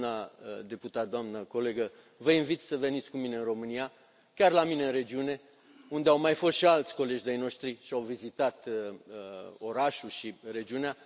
Doamna deputat, doamna colegă, vă invit să veniți cu mine în România, chiar la mine în regiune, unde au mai fost și alți colegi de ai noștri și au vizitat orașul și regiunea.